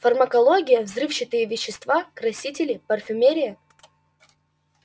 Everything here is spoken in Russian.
фармакология взрывчатые вещества красители парфюмерия